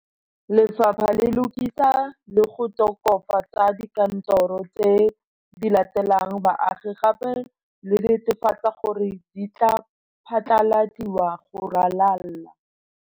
Lefapha le lokisa le go tokafa tsa dikantoro tse di latelelang baagi gape le netefatsa gore di tla phatlaladiwa go ralala.